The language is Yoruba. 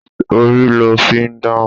Orí lo fi ń dáhùn.